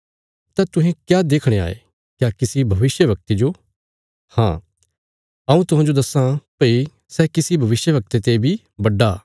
तां तुहें क्या देखणे गए थे क्या किसी भविष्यवक्ते जो देखणे जो हाँ हऊँ तुहांजो दस्सां भई ये सैआ सै जे भविष्यवक्ते ते बी बड्डा